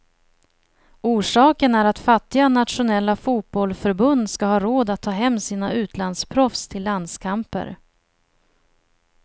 Orsaken är att fattiga nationella fotbollförbund ska ha råd att ta hem sina utlandsproffs till landskamper.